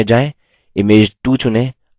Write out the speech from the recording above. image 2 चुनें